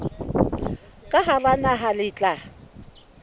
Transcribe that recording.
ka hara naha le tla